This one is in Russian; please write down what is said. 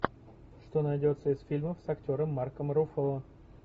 что найдется из фильмов с актером марком руффало